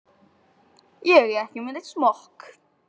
Ég er ekki með neinn smokk.